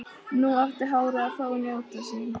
Nú átti hárið að fá að njóta sín.